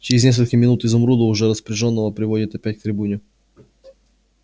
через несколько минут изумруда уже распряжённого приводят опять к трибуне